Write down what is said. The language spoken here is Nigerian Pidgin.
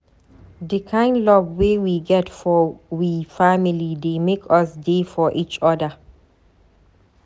Di kind love wey we get for we family dey make us dey for eachoda.